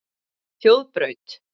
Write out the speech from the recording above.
Þjóðbraut